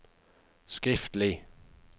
skriftlig